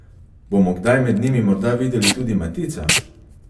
Bomo kdaj med njimi morda videli tudi Matica?